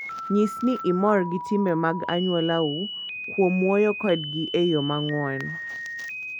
Nyis ni imor gi timbe mag anyuolau kuom wuoyo kodgi e yo mang'won.